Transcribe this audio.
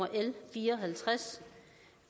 fire